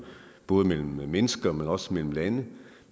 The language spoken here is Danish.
både mellem mennesker men også mellem lande